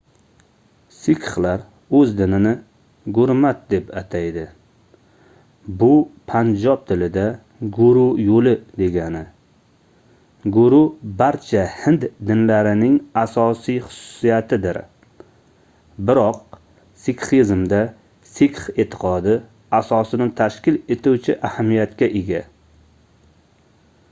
sikxlar oʻz dinini gurmat deb ataydi bu panjob tilida guru yoʻli degani guru barcha hind dinlarining asosiy xususiyatidir biroq sikxizmda sikx eʼtiqodi asosini tashkil etuvchi ahamiyatga ega